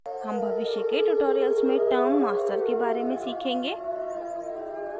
term भविष्य के tutorials में term master के बारे में सीखेंगे